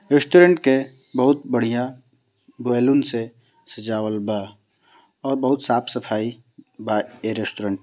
restaurant के बहुत बढ़िया बैलून से सजाबल बा और बहुत साफ सफाई बा ये रेस्टोरेंट --